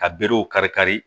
Ka berew kari kari